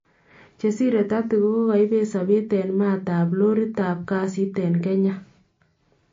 Chesiree 30 kokaibeet sabeet en maat ab looritab kasiit en Kenya